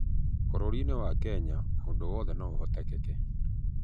Bũrũri-nĩ wa Kenya ũndũ wothe no ũhotekeke